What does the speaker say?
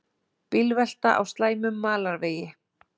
Bílvelta á slæmum malarvegi